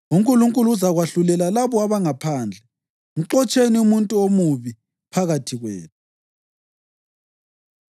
UNkulunkulu uzakwahlulela labo abangaphandle. “Mxotsheni umuntu omubi phakathi kwenu.” + 5.13 UDutheronomi 17.7; 19.19; 21.21; 22.21, 24; 24.7